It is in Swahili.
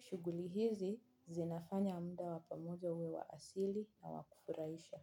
Shughuli hizi zinafanya muda wa pamoja uwe wa asili na wa kufurahisha.